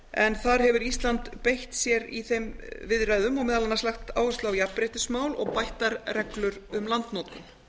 en þar hefur ísland beitt sér í þeim viðræðum og meðal annars lagt áherslu á jafnréttismál og bættar reglur um landnotkun